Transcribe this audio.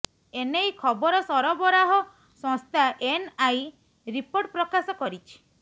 ଏନେଇ ଖବର ସରବରାହ ସଂସ୍ଥା ଏନ୍ଆଇ ରିପୋର୍ଟ ପ୍ରକାଶ କରିଛି